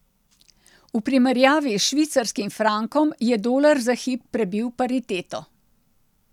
V primerjavi s švicarskim frankom je dolar za hip prebil pariteto.